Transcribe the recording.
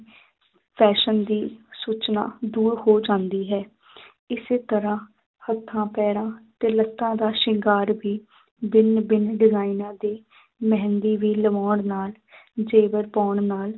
Fashion ਦੀ ਸੂਚਨਾ ਦੂਰ ਹੋ ਜਾਂਦੀ ਹੈ ਇਸੇ ਤਰ੍ਹਾਂ ਹੱਥਾਂ ਪੈਰਾਂ ਤੇ ਲੱਤਾਂ ਦਾ ਸ਼ਿੰਗਾਰ ਵੀ ਭਿੰਨ ਭਿੰਨ ਡਿਜ਼ਾਇਨਾਂ ਦੀ ਮਹਿੰਦੀ ਵੀ ਲਵਾਉਣ ਨਾਲ ਜੇਵਰ ਪਾਉਣ ਨਾਲ